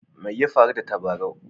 Mai ya faru da tabarau?